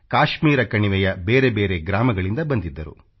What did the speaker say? ಕಾಶ್ಮೀರ ಕಣಿವೆಯ ಬೇರೆ ಬೇರೆ ಗ್ರಾಮಗಳಿಂದ ಬಂದಿದ್ದರು